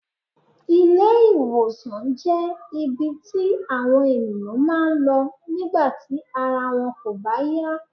Ilé- ìwòsàn jé ibi tí àwọn ènìyàn máa ń lọ nígbà tí ara wọn kò bá yá